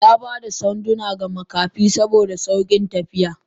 Yaba da sanduna ga Makafi saboda saukin tafiya.